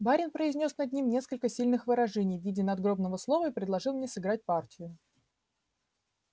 барин произнёс над ним несколько сильных выражений в виде надгробного слова и предложил мне сыграть партию